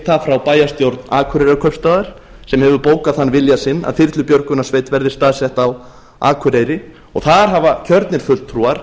það frá bæjarstjórn akureyrarkaupstaðar sem hefur bókað þann vilja sinn að þyrlubjörgunarsveit verði staðsett á akureyri og þar hafa kjörnir fulltrúar